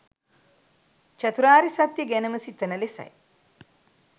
චතුරාර්ය සත්‍ය ගැනම සිතන ලෙසයි.